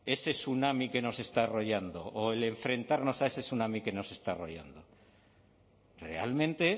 ese tsunami que nos está arrollando o enfrentarnos a ese tsunami que nos está arrollando realmente